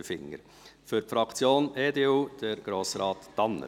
Für die Fraktion EDU: Grossrat Tanner.